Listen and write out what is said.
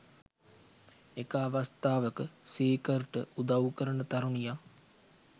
එක අවස්ථාවක සීකර්ට උදව් කරන තරුණියක්